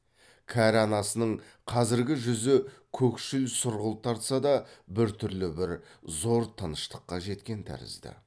кәрі анасының қазіргі жүзі көкшіл сұрғылт тартса да біртүрлі бір зор тыныштыққа жеткен тәрізді